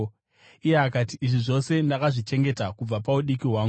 Iye akati, “Izvi zvose ndakazvichengeta kubva paudiki hwangu.”